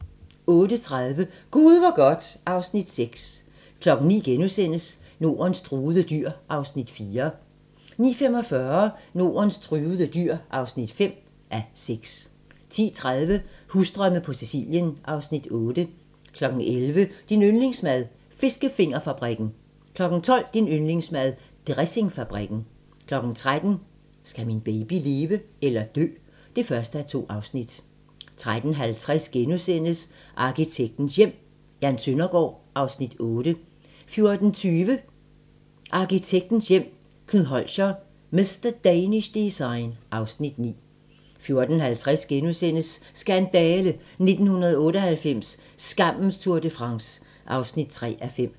08:30: Gud hvor godt (Afs. 6) 09:00: Nordens truede dyr (4:6)* 09:45: Nordens truede dyr (5:6) 10:30: Husdrømme på Sicilien (Afs. 8) 11:00: Din yndlingsmad: Fiskefingerfabrikken * 12:00: Din yndlingsmad: Dressingfabrikken 13:00: Skal min baby leve eller dø? (1:2) 13:50: Arkitektens Hjem: Jan Søndergaard (Afs. 8)* 14:20: Arkitektens Hjem: Knud Holscher – "Mr. Danish Design" (Afs. 9) 14:50: Skandale! - 1998, skammens Tour de France (3:5)*